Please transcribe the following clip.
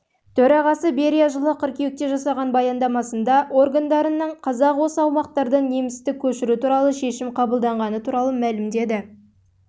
төрағасы берия жылы қыркүйекте жасаған баяндамасында органдарының қазақ осы аумақтардан немісті көшіру туралы шешім қабылдағаны туралы мәлімдеді